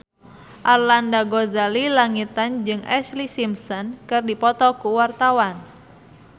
Arlanda Ghazali Langitan jeung Ashlee Simpson keur dipoto ku wartawan